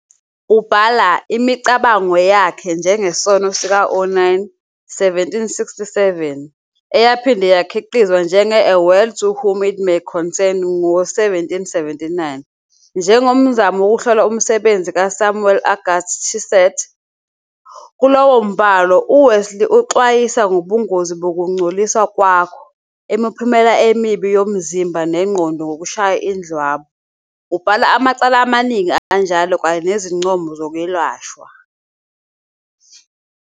Ubhala "imicabango yakhe ngesono sika-Onan", 1767, eyaphinde yakhiqizwa njenge- "A Word to Whom it May Concern" ngo-1779, njengomzamo wokuhlola umsebenzi kaSamuel-Auguste Tissot. Kulowo mbhalo, uWesley uxwayisa "ngobungozi bokungcoliswa kwakho", imiphumela emibi yomzimba nengqondo yokushaya indlwabu, ubhala amacala amaningi anjalo kanye nezincomo zokwelashwa.